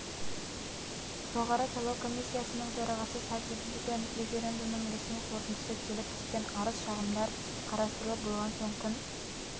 жоғары сайлау комиссисяның төрағасы сади гювен референдумның ресми қорытындысы келіп түскен арыз-шағымдар қарастырылып болған соң күн